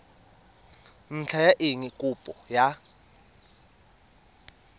ntlha ya eng kopo ya